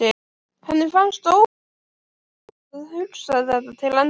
Henni fannst óbærilegt að hugsa þetta til enda.